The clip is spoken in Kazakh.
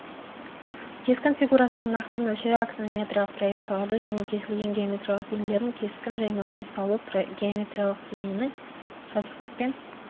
кескін фигурасының нақты мөлшері аксонометриялық проекцияларды және кесілген геометриялық денелердің кескін жаймасын салу геомериялық дененің жазықтықпен